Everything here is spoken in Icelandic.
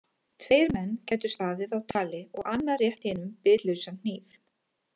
Tveir menn gætu staðið á tali og annar rétt hinum bitlausan hníf.